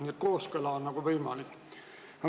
Nii et kooskõla on võimalik.